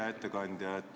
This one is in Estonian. Hea ettekandja!